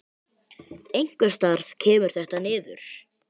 Einhvers staðar kemur þetta niður.